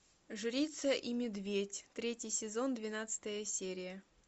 жрица и медведь третий сезон двенадцатая серия